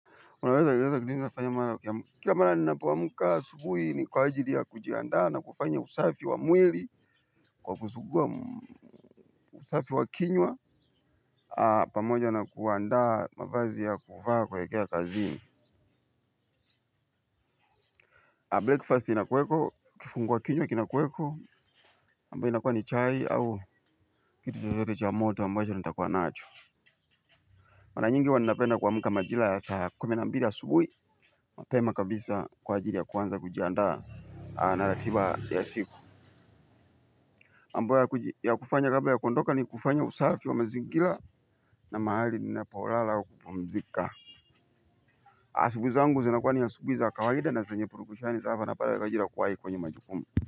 Kila mara ninapo amka asubuhi ni kwa ajili ya kujiandaa na kufanya usafi wa mwili, kwa kusuguwa usafi wa kinywa, pamoja na kuandaa mavazi ya kuvaa kuelekea kazi. Breakfast inakuweko, kifungwa kinywa kinakuweko, ambayo inakua ni chai au kitu chochote cha moto ambayo nitakua nacho. Mara nyingi huwa nina penda kuamka majira ya saa kumi na mbili asubuhi. Mapema kabisa kwa ajili ya kuanza kujiandaa na ratiba ya siku. Mambo ya kufanya kabla ya kuondoka ni kufanya usafi wa mazingira na mahali ninapo lala au kupumzika. Asubuhi zangu zinakuwa ni asubuhi za kawaida na zenye purukushani za hapa na pale ya kwa ajili ya kuwai kwenye majukumu.